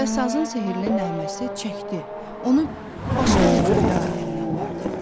Və sazın sehrli nəğməsi çəkdi, onu başqa bir röya aləminə apardı.